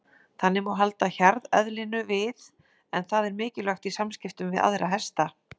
Þannig má halda hjarðeðlinu við en það er mikilvægt í samskiptum við aðra hesta.